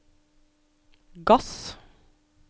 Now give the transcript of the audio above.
gass